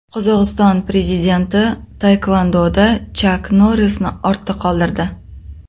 Qozog‘iston prezidenti taekvondoda Chak Norrisni ortda qoldirdi.